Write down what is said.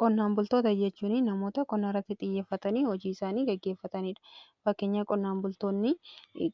Qonnaan bultoota jechuun namoota qonnaa irratti xiyyeeffatanii hojii isaanii geggeeffataniidha. Fakkeenya qonnaan bultoonni